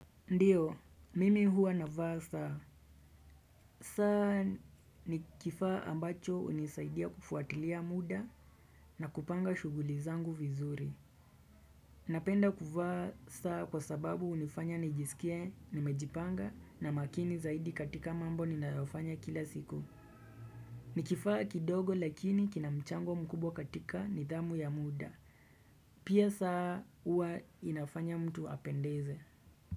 Ndiyo, mimi huwa na vaa saa. Saa ni kifaa ambacho hunisaidia kufuatilia muda na kupanga shughuli zangu vizuri. Napenda kuvaa saa kwa sababu hunifanya nijisikie nimejipanga na makini zaidi katika mambo ninayofanya kila siku. Ni kifaa kidogo lakini kina mchango mkubwa katika nidhamu ya muda. Pia saa huwa inafanya mtu apendeze.